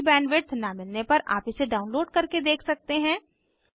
अच्छी बैंडविड्थ न मिलने पर आप इसे डाउनलोड करके देख सकते हैं